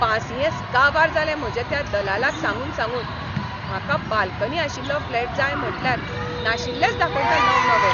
पासियेंस काबार जालें म्हजें त्या दलालाक सांगून सांगून. म्हाका बाल्कनी आशिल्लो फ्लॅट जाय म्हटल्यार नाशिल्लेच दाखयता नवनवे!